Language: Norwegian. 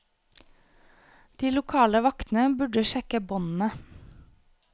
De lokale vaktene burde sjekke båndene.